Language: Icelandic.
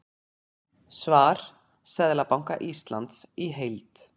Svar Seðlabanka Íslands í heild